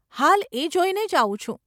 હાલ એ જોઈને જ આવું છું.